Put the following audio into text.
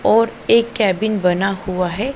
और एक केबिन बना हुआ है।